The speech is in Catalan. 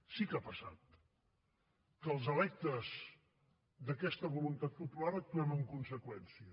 sí que ha passat que els electes d’aquesta voluntat popular actuem en conseqüència